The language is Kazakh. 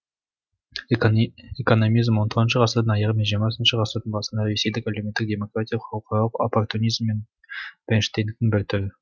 экономизм он тоғызыншы ғасырдың аяғы мен жиырмасыншы ғасырдың басындағы ресейде әлеуметтік демократияның халықаралық оппортунизм мен бернштейндіктің бір түрі